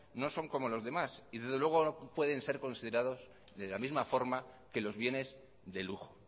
no son como los demás y desde luego no pueden ser considerados de la misma forma que los bienes de lujo